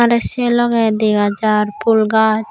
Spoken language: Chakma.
aro se logey dega jar phool gaj.